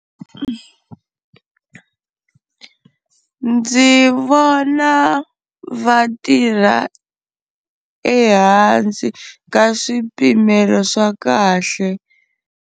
Ndzi vona vatirha ehansi ka swipimelo swa kahle.